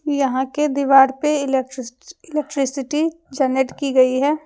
यहां के दीवार पे इलेक्ट्सिटी जनरेट की गई है।